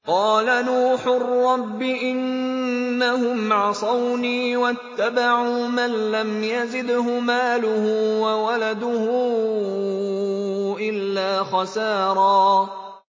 قَالَ نُوحٌ رَّبِّ إِنَّهُمْ عَصَوْنِي وَاتَّبَعُوا مَن لَّمْ يَزِدْهُ مَالُهُ وَوَلَدُهُ إِلَّا خَسَارًا